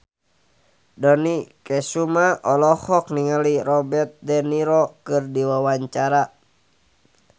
Dony Kesuma olohok ningali Robert de Niro keur diwawancara